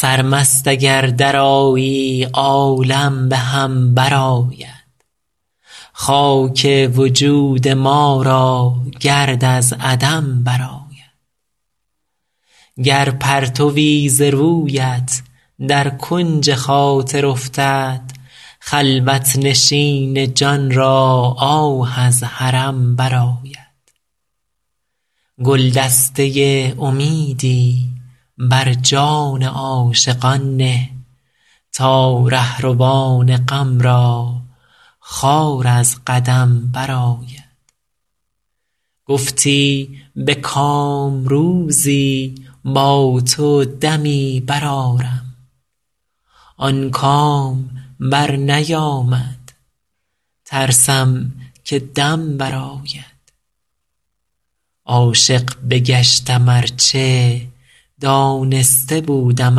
سرمست اگر درآیی عالم به هم برآید خاک وجود ما را گرد از عدم برآید گر پرتوی ز رویت در کنج خاطر افتد خلوت نشین جان را آه از حرم برآید گلدسته امیدی بر جان عاشقان نه تا رهروان غم را خار از قدم برآید گفتی به کام روزی با تو دمی برآرم آن کام برنیامد ترسم که دم برآید عاشق بگشتم ار چه دانسته بودم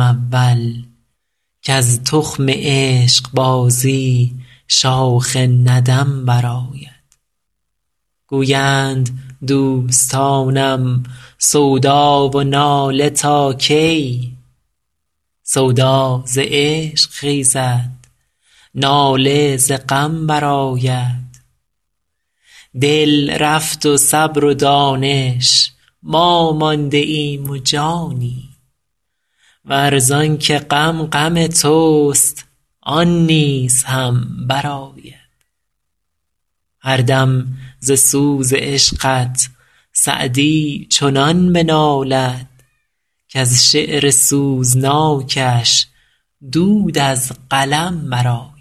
اول کز تخم عشقبازی شاخ ندم برآید گویند دوستانم سودا و ناله تا کی سودا ز عشق خیزد ناله ز غم برآید دل رفت و صبر و دانش ما مانده ایم و جانی ور زان که غم غم توست آن نیز هم برآید هر دم ز سوز عشقت سعدی چنان بنالد کز شعر سوزناکش دود از قلم برآید